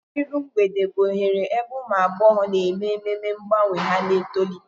Iru Mgbede bụ oghere ebe ụmụ agbọghọ na-eme ememe mgbanwe ha na-etolite.